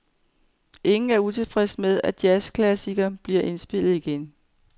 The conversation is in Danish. Ingen er utilfredse med, at jazzklassikeren bliver indspillet igen.